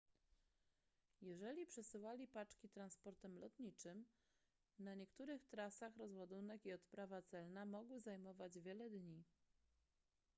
jeżeli przesyłali paczki transportem lotniczym na niektórych trasach rozładunek i odprawa celna mogły zajmować wiele dni